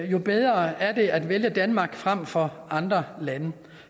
jo bedre er det at vælge danmark frem for andre lande